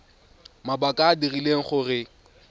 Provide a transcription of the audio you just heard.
mabaka a a dirileng gore